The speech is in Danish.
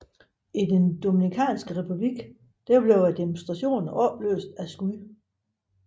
I den Dominikanske Republik blev demonstrationer opløst af skud